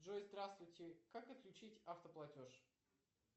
джой здравствуйте как отключить автоплатеж